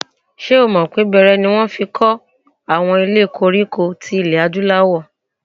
Ṣé o mọ̀ pé bẹẹrẹ ni wọ́n fi kọ́ àwọn ilé koríko ilẹ̀ Adúláwọ̀?